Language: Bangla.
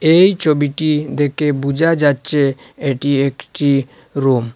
এই ছবিটি দেকে বুজা যাচ্চে এটি একটি রুম ।